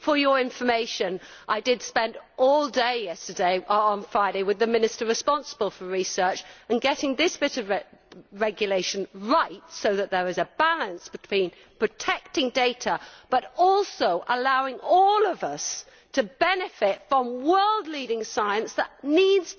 For your information, I spent all day on Friday with the Minister responsible for research, getting this bit of regulation right so that there is a balance between protecting data but also allowing all of us to benefit from world leading science that needs